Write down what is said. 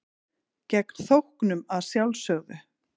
Gegn þóknun að sjálfsögðu.